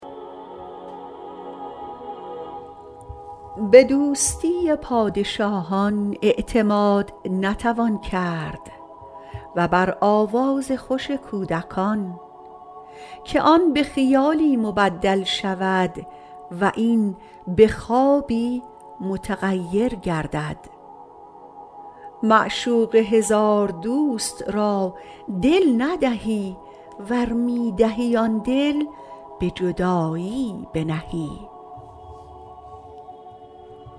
به دوستی پادشاهان اعتماد نتوان کرد و بر آواز خوش کودکان که آن به خیالی مبدل شود و این به خوابی متغیر گردد معشوق هزار دوست را دل ندهی ور می دهی آن دل به جدایی بنهی